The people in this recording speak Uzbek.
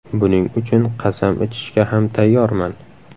Buning uchun qasam ichishga ham tayyorman.